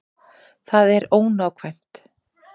Það er ónákvæmt.